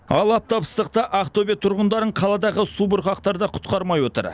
ал аптап ыстықта ақтөбе тұрғындарын қаладағы субұрқақтар да құтқармай отыр